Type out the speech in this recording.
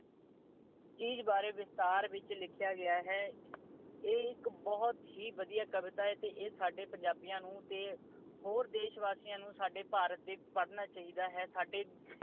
ਚੀਜ ਬਾਰੇ ਵਿਸਥਾਰ ਵਿੱਚ ਲਿਖਿਆ ਗਿਆ ਹੈ। ਇਹ ਇਕ ਬਹੁਤ ਹੀ ਵਧੀਆ ਕਵਿਤਾ ਹੈ ਤੇ ਇਹ ਸਾਡੇ ਪੰਜਾਬੀਆਂ ਨੂੰ ਤੇ ਭਾਰਤ ਦੇ ਹੋਰ ਦੇਸ਼ ਵਾਸੀਆਂ ਨੂੰ ਪੜ੍ਹਨਾ ਚਾਹੀਦਾ ਹੈ।